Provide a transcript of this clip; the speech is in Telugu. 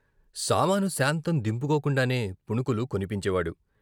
సామాను సాంతం దింపుకోకుండానే పుణుకులు కొనిపించేవాడు.